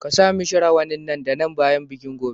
Ka sa mishi rawanin nan da nan bayan bikin gobe.